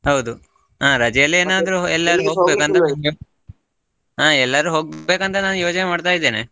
ಹೌದು, ಹಾ ರಜೆಯಲ್ಲಿ ಹಾ ಎಲ್ಲಾದ್ರು ಹೋಗಬೇಕಂತ ನಾನ್ ಯೋಜನೆ ಮಾಡ್ತಾ ಇದೇನೆ.